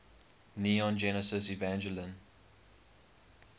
neon genesis evangelion